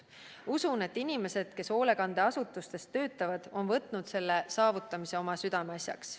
Usun, et inimesed, kes hoolekandeasutustes töötavad, on võtnud selle saavutamise oma südameasjaks.